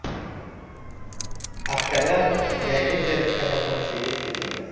Askarlar Gaylezers kasalxonasiga yetkazildi.